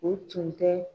O tun tɛ